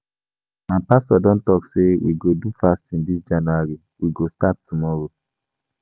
My pastor don talk sey we go do fasting dis January, we go start tomorrow.